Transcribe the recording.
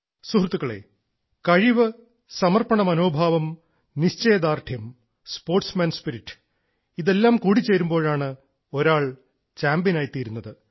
സുഹൃത്തുക്കളേ കഴിവ് സമർപ്പണ മനോഭാവം നിശ്ചയദാർഢ്യം സ്പോർട്സ്മാൻ സ്പിരിറ്റ് ഇതെല്ലാം കൂടിച്ചേരുമ്പോഴാണ് ഒരാൾ ചാമ്പ്യനായിത്തീരുന്നത്